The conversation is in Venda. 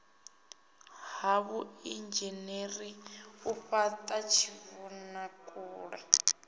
ha vhuinzhinere u fhata tshivhonakule